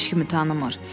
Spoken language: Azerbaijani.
heç kimi tanımır.